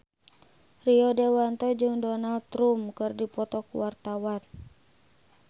Rio Dewanto jeung Donald Trump keur dipoto ku wartawan